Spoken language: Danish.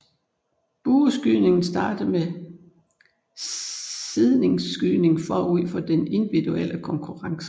Bueskydningen starter med seedningsskydning forud for den individuelle konkurrence